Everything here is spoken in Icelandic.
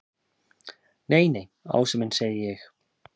Nei, nei, Ási minn segi ég.